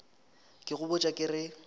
ke go botša ke re